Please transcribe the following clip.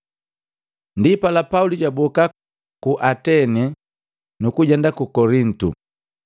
Ndipala, Pauli jwaboka ku Atene, nukujenda ku Kolintu.